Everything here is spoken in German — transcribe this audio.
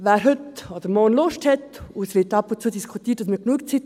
Wer heute oder morgen Lust hat – und es wird ab und zu diskutiert, man hat genug Zeit: